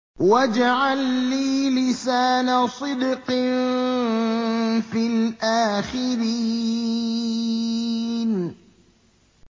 وَاجْعَل لِّي لِسَانَ صِدْقٍ فِي الْآخِرِينَ